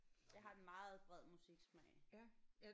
Jeg har en meget bred musiksmag